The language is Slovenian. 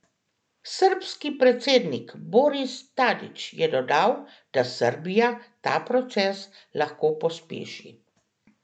Srbski predsednik Boris Tadić je dodal, da Srbija ta proces lahko pospeši.